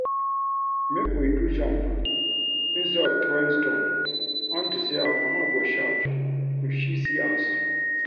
Make we do jump instead of throwing stone unto say our mama go shout if she see us